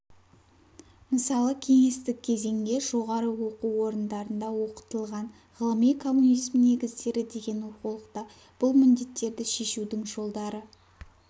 мысалы кеңестік кезеңде жоғары оқу орындарында оқытылған ғылыми коммунизм негіздері деген оқулықта бұл міндеттерді шешудің жолдары